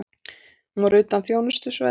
Hún var utan þjónustusvæðis.